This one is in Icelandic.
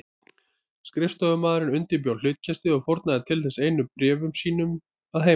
Skrifstofumaðurinn undirbjó hlutkestið og fórnaði til þess einu af bréfum sínum að heiman.